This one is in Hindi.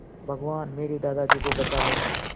भगवान मेरे दादाजी को बचा लो